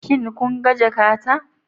Shin kun ga jakata?